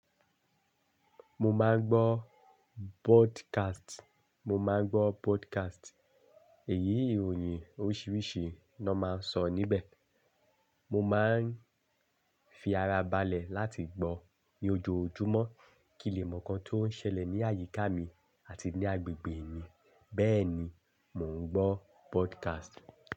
Mo máa ń gbọ́ broadcast, mo máa ń gbọ́ broadcast. Èyí ìròyìn oríṣiríṣi ni wọ́n máa ń sọ níbẹ̀. Mo máa ń fi ara balẹ̀ láti gbọ́ ní ojoojúmọ́ kí n lè mọ̀ nǹkan tó ń ṣẹlẹ̀ ní àyíká mi àti ní agbègbè mi. Bẹ́ẹ̀ ni mò ń gbọ́ broadcast.